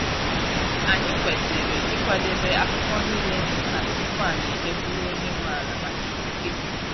Anyị kwesịrị ịkwadebe akwụkwọ niile dị mkpa tupu anyị eje kwuru onye nwe ala maka ikike.